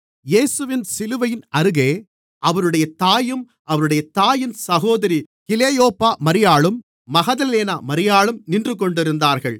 இயேசுவின் சிலுவையின் அருகே அவருடைய தாயும் அவருடைய தாயின் சகோதரி கிலெயோப்பா மரியாளும் மகதலேனா மரியாளும் நின்றுகொண்டிருந்தார்கள்